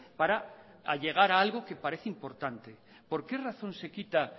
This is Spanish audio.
para llegar a algo que parece importante por qué razón se quita